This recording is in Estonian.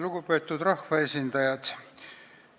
Lugupeetud rahvaesindajad!